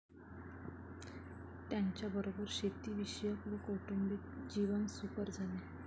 त्यांच्याबरोबर शेती विषयक व कौटुंबिक जीवन सुकर झाले